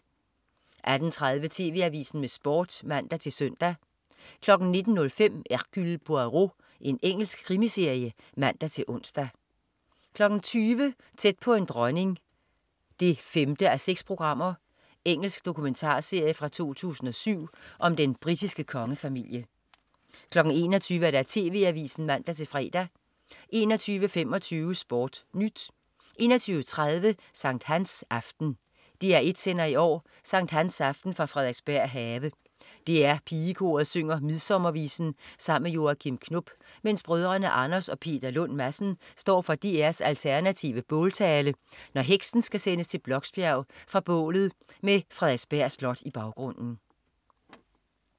18.30 TV AVISEN med Sport (man-søn) 19.05 Hercule Poirot. Engelsk krimiserie (man-ons) 20.00 Tæt på en dronning 5:6. Engelsk dokumentarserie fra 2007 om den britiske kongefamilie 21.00 TV AVISEN (man-fre) 21.25 SportNyt 21.30 Sankt Hans aften. DR1 sender i år sankthansaften fra Frederiksberg Have. DR Pigekoret synger midsommervisen sammen med Joachim Knop, mens brødrene Anders og Peter Lund Madsen står for DR's alternative båltale, når heksen skal sendes til Bloksbjerg fra bålet med Frederiksberg Slot i baggrunden